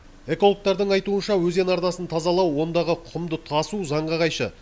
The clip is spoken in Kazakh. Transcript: экологтардың айтуынша өзен арнасын тазалау ондағы құмды тасу заңға қайшы